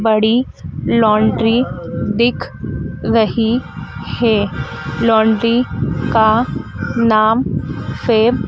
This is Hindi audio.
बड़ी लॉन्ड्री दिख रही है लॉन्ड्री का नाम फेम--